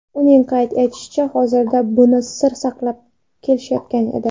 Uning qayd etishicha, hozirgacha buni sir saqlab kelishayotgan edi.